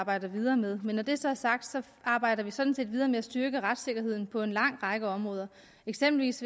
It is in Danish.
arbejder videre med men når det så er sagt så arbejder vi sådan set videre med at styrke retssikkerheden på en lang række områder eksempelvis